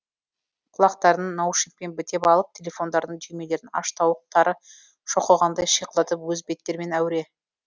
құлақтарын наушникпен бітеп алып телефондарының түймелерін аш тауық тары шоқығандай шиқылдатып өз беттерімен әуіре